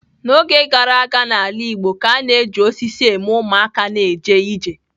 N'oge gara aga n'ala igbo ka a na-eji osisi eme ụmụaka na-eje ije.